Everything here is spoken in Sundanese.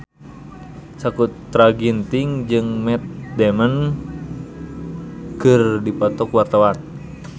Sakutra Ginting jeung Matt Damon keur dipoto ku wartawan